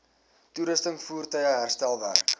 toerusting voertuie herstelwerk